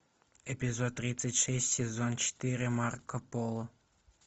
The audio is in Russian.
эпизод тридцать шесть сезон четыре марко поло